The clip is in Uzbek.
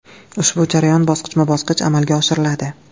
Ushbu jarayon bosqichma-bosqich amalga oshiriladi.